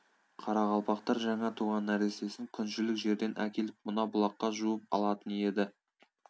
қарақалпақтар жаңа туған нәрестесін күншілік жерден әкеліп мына бұлаққа жуып алатын еді